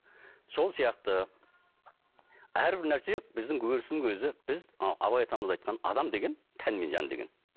сол сияқты әрбір нәрсе біздің өрістің өзі біз мынау абай атамыз айтқан адам деген тән мен жан деген